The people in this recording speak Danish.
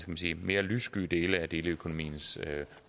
man sige mere lyssky dele af deleøkonomiens